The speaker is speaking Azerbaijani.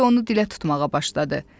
Bembi onu dilə tutmağa başladı.